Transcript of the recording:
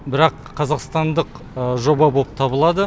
бірақ қазақстандық жоба боп табылады